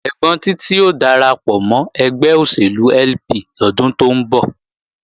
Ẹ́gbọ́n Títí ó darapọ̀ mọ́ ẹgbẹ́ òṣèlú LP lọ́dún tó ń bọ̀